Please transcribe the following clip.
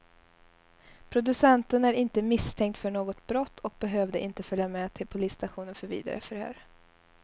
Producenten är inte misstänkt för något brott och behövde inte följa med till polisstationen för vidare förhör.